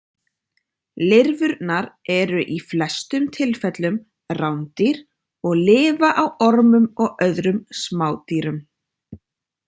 Lirfurnar eru í flestum tilfellum rándýr og lifa á ormum og öðrum smádýrum.